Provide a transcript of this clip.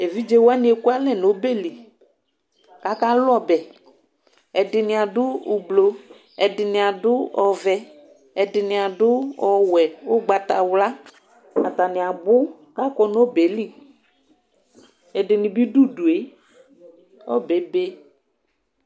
Evidze wani ekʋalɛ nʋ ɔbeli kʋ akalʋ ɔbɛ ɛdini adʋ ʋblɔ ɛdini adʋ ɔvɛ ɛdini adʋ ɔwɛ ʋgbatawla atani abʋ kʋ akɔ nʋ ɔbɛli ɛdini bi dʋ ʋdʋe ɔbɛ ebe